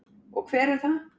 Og hver er það?